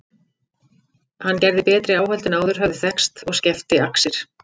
Hann gerði betri áhöld en áður höfðu þekkst og skefti axir.